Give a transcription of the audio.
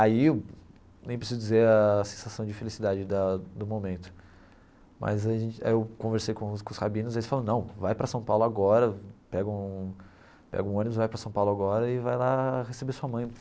Aí, nem preciso dizer a sensação de felicidade da do momento, mas a gente aí eu conversei com os com os rabinos e eles falaram, não, vai para São Paulo agora, pega um pega um ônibus, vai para São Paulo agora e vai lá receber sua mãe.